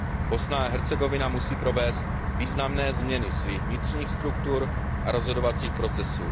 Bosna a Hercegovina musí provést významné změny svých vnitřních struktur a rozhodovacích procesů.